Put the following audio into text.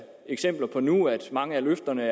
eksempler på nu at mange af løfterne